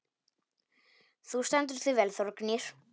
Þú stendur þig vel, Þórgnýr!